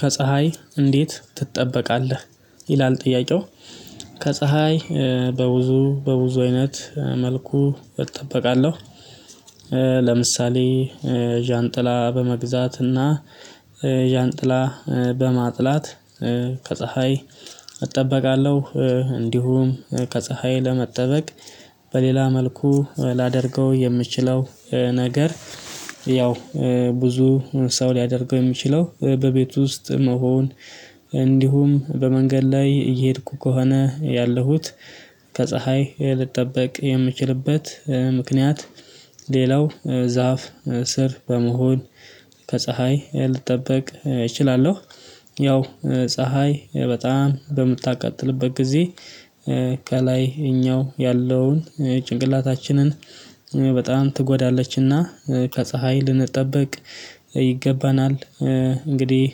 ከፀሀይ እንዴት ትጠበቃለህ? ይላል ጥያቄው ከፀሀይ በብዙ በብዙ አይነት መልኩ እጠብቃለሁ። ለምሳሌ ዣንጥላ በመግዛት እና ዣንጥላ በማጥላት ከፀሀይ እጠበቃለሁ። እንዲሁም ከፀሀይ ለመጠበቅ በሌላ መልኩ ላደርገው የምችለው ነገር ከፀሀይ እንዴት ትጠበቃለህ ይላል ጥያቄው? ከፀሀይ በብዙ በብዙ አይነት መልኩ እጠብቃለሁ ለምሳሌ ዣንጥላ በመግዛት እና ዣንጥላ በማጥላት ከፀሀይ እጠበቃለሁ። እንዲሁም ከፀሀይ ለመጠበቅ በሌላ መልኩ ላደርገው የምችለው ነገር ለምሳሌ ዣንጥላ በመግዛት እና ዣንጥላ በማጥላት ከፀሀይ እጠበቃለሁ። እንዲሁም ከፀሀይ ለመጠበቅ በሌላ መልኩ ላደርገው የምችለው ነገር ያው ብዙ ሰው ሊያደርገው የሚችለው በቤት ውስጥ መሆን። እንዲሁም በመንገድ ላይ እየሄድኩ ከሆነ ያለሁት ከፀሀይ ልትጠብቅ የምችልበት ምክንያት ሌላው ዛፍ ስር በመሆን ከፀሀይ ልጠበቅ እችላለሁ። ያው ፀሀይ በጣም በምታቀጥልበት ጊዜ ከላይ እኛው ያለውን ጭንቅላታችንን በጣም ትጎዳለችና ከፀሀይ ልንጠብቅ ይገባናል። እንግዲህ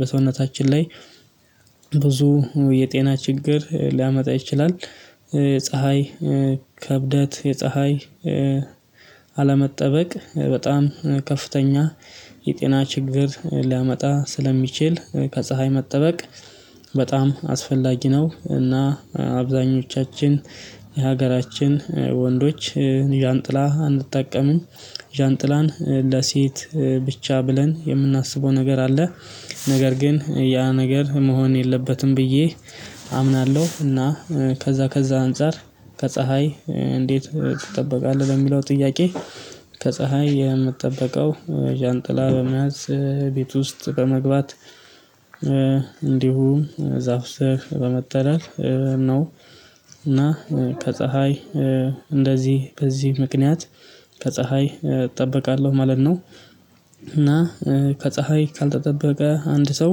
በሰውነታችን ላይ ብዙ የጤና ችግር ሊያመጣብን ይችላል። ፀሀይ ከብደት የፀሀይ አለመጠበቅ በጣም ከፍተኛ የጤና ችግር ሊያመጣ ስለሚችል ከፀሀይ መጠበቅ በጣም አስፈላጊ ነው። እና አብዛኞቻችን የሀገራችን ወንዶች ዣንጥላ አንጠቀምም ዣንጥላን ለሴት ብቻ ብለን የምናስበው ነገር አለ። ነገር ግን ያ ነገር መሆን የለበትም ብዬ አምናለሁ። እና ከዛ ከዛ አንፃር ከፀሀይ እንዴት ትጠበቃለህ በሚለው ጥያቄ? ከፀሀይ የምትጠበቀው ዣንጥላ በመያዝ ቤት ውስጥ በመግባት እንዲሁም ዛፍ ስር በመጠለል ነው። እና ከፀሀይ እንደዚህ ከዚህ ምክንያት ከፀሀይ እጠብቃለሁ ማለት ነው። እና ከፀሀይ ካልተጠበቀ አንድ ሰው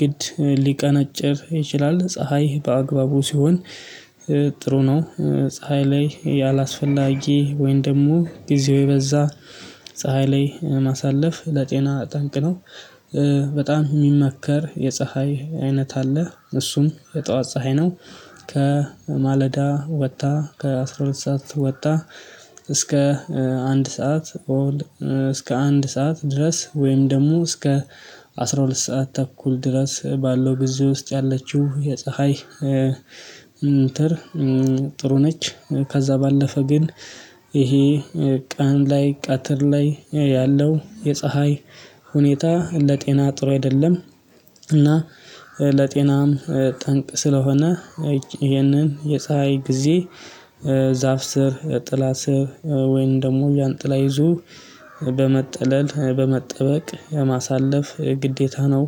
ግድ ሊቀነጭር ይችላል። ፀሀይ በአግባቡ ሲሆን ጥሩ ነው። ፀሀይ ላይ ያላስፈላጊ ወይን ደግሞ ጊዜው የበዛ ፀሀይ ላይ ማሳለፍ ለጤና ጠንቅ ነው። በጣም የሚመከር የፀሀይ አይነት አለ እሱም የጠዋት ፀሀይ ነው። ከማለዳ ወጣ ከአስራ ሁለት ሰዓት ወጣ እስከ አንድ ሰዓት እስከ አንድ ሰዓት ድረስ ወይም ደግሞ እስከ አስራ ሁለት ሰዓት ተኩል ድረስ ባለው ጊዜ ውስጥ ያለችው የፀሀይ ጥሩ ነች። ከዛ ባለፈ ግን ይሄ ቀን ላይ ቀትር ላይ ያለው የፀሀይ ሁኔታ ለጤና ጥሩ አይደለም። እና ለጤናም ጠንቅ ስለሆነ ይሄንን የፀሀይ ጊዜ ዛፍ ስር ጥላ ስር ወይንም ደግሞ ዣንጥላ ይዞ በመጠለል በመጠበቅ ማሳለፍ ግዴታ ነው።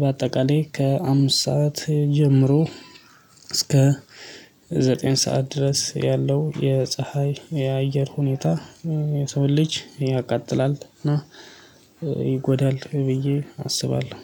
በአጠቃላይ ከአምስት ሰዓት ጀምሮ እስከ ዘጠኝ ሰዓት ድረስ ያለው የፀሀይ የአየር ሁኔታ የሰውን ልጅ ያቃጥላል እና ይጎዳል ብዬ አስባለሁ